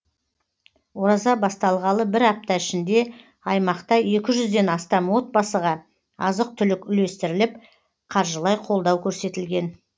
ораза басталғалы бір апта ішінде аймақта екі жүзден астам отбасыға азық түлік үлестіріліп қаржылай қолдау көрсетілген